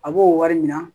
A b'o wari minɛ